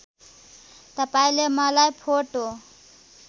तपाईँले मलाई फोटो